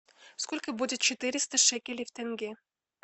сколько будет четыреста шекелей в тенге